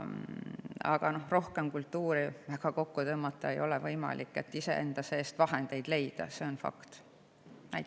Aga kultuuri rohkem kokku tõmmata ja kultuuri enda seest veel vahendeid leida ei ole väga võimalik.